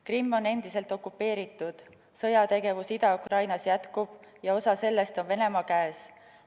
Krimm on endiselt okupeeritud, sõjategevus Ida-Ukrainas jätkub ja osa sellest on Venemaa käes.